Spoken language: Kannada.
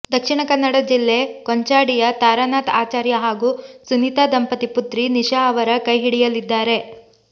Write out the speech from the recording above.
ದಕ್ಷಿಣಕನ್ನಡ ಜಿಲ್ಲೆ ಕೊಂಚಾಡಿಯ ತಾರಾನಾಥ್ ಆಚಾರ್ಯ ಹಾಗೂ ಸುನಿತಾ ದಂಪತಿ ಪುತ್ರಿ ನಿಶಾ ಅವರ ಕೈಹಿಡಿಯಲಿದ್ದಾರೆ